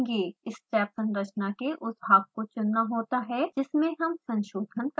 step संरचना के उस भाग को चुनना होता है जिसमें हम संशोधन करना चाहते हैं